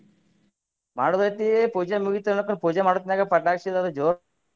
ಮಾಡುದ್ ಐತಿ ಪೂಜೆ ಮುಗಿತ್ ಅಂದ್ರಪ್ಪನಂದ್ರೆ ಪೂಜೆ ಮಾಡುತನ್ಯಾಗ ಪಟಾಕಿ ಅದು ಜೋರ್ .